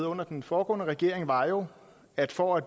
under den foregående regering var jo at for at